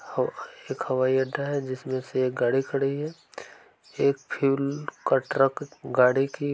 हव एक हवाई अड्डा है जिसमे से एक गाडी खड़ी है एक फ्यूल का ट्रक गाडी की --